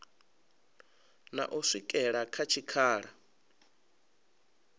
na u swikela kha tshikhala